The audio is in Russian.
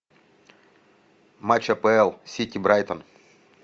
матч апл сити брайтон